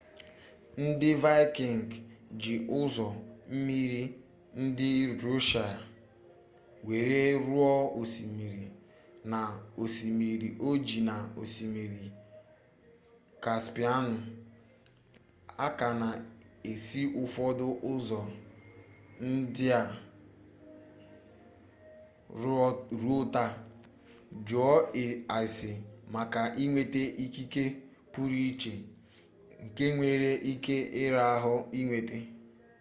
ndị vaịkịngị ji ụzọ mmiri ndị rọshịa were ruo osmiri na osimiri ojii na osimiri kaspịanụ a ka na-esi ụfọdụ ụzọ ndị a ruo taa jụọ ase maka inweta ikike pụrụ iche nke nwere ike ịra ahụ inweta